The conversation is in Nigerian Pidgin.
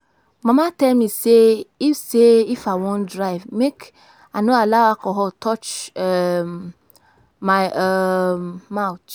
Mama tell me say if say I wan drive make I no allow alcohol touch um my um mouth